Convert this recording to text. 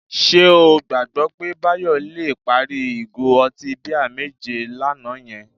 Ṣé o gbàgbọ́ pé Báyọ̀ le parí ìgò ọtí bíà méje àná yẹn?